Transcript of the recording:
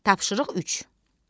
Tapşırıq üç.